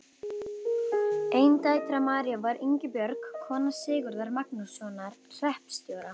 Ein dætra Maríu var Ingibjörg, kona Sigurðar Magnússonar hreppstjóra.